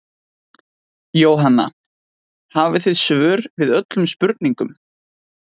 Jóhanna: Hafið þið svör við öllum spurningum?